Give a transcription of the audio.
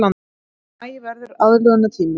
Maí verði aðlögunartími